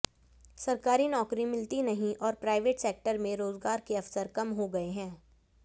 सरकारी नौकरी मिलती नहीं और प्राइवेट सेक्टर में रोजगार के अवसर कम हो गये हैं